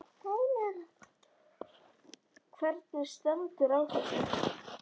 Hvernig stendur á þessu?